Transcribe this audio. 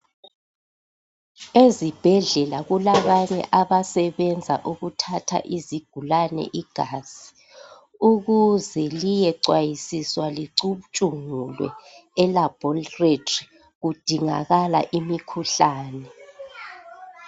ezibhedlela kulabanye abasebenza ukuthatha izigulane igazi ukuze liyecwayisiswa licutshungulwe e laboratory kudingakala imikhuhlane